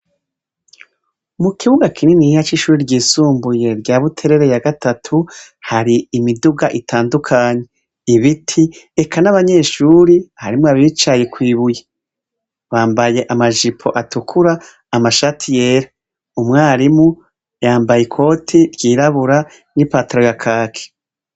Mu kibuga kininiya c'ishure ryisumbuye rya Buterere ya gatatu, hari imiduga itandukanye, ibiti, eka n'abanyeshuri, harimwo abicaye kw'ibuye. Bambaye amajipo atukura, amashati yera. Umwarimu yambaye ikoti ryirabura n'ipataro ya kaki.